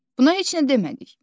Buna heç nə demədik.